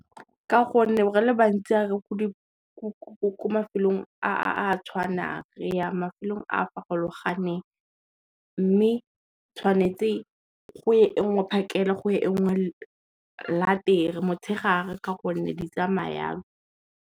Ka gonne re le bantsi re ko mafelong a tshwanang re ya mafelong a farologaneng, mme tshwanetse go ye e ngwe phakele, go ye e ngwe motshegare ka gonne di tsamaya jalo.